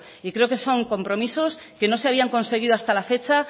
y creo que son compromisos que no se habían conseguido hasta la fecha